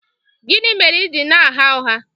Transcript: Gịnị mere i ji na-agha ụgha?